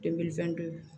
fɛn dɔ ye